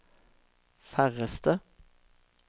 færreste